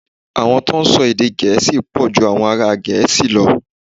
Àwọn tó ń sọ èdè Gẹ̀ẹ́sì pọ̀ ju àwọn ará Gẹ̀ẹ́sì lọ.